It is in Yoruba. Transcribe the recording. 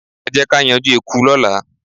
Ẹ jẹ́ ká yanjú eku lọ́la.